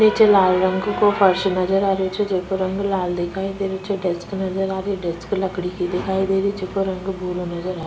निचे लाल रंग को फर्स नजर आ रेहो छे जेको रंग लाल दिखाई दे रेहो छे डेक्स नजर री है डेक्स लकड़ी की दिखाई दे री जेको रंग भूरो नज़र आ --